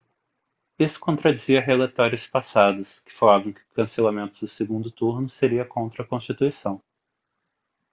isso contradizia relatórios passados que falavam que o cancelamento do segundo turno seria contra a constituição